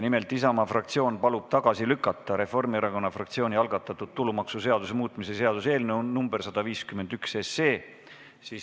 Nimelt, Isamaa fraktsioon palub tagasi lükata Reformierakonna fraktsiooni algatatud tulumaksuseaduse muutmise seaduse eelnõu nr 151.